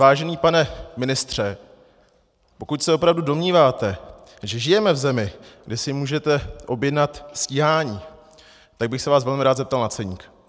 Vážený pane ministře, pokud se opravdu domníváte, že žijeme v zemi, kde si můžete objednat stíhání, tak bych se vás velmi rád zeptal na ceník.